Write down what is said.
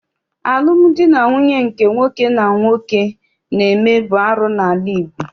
Alụmdi na nwunye nke nwoke na nwoke na-eme bụ arụ n'ala Igbo.